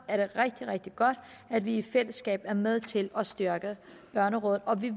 er det rigtig rigtig godt at vi i fællesskab er med til at styrke børnerådet og vi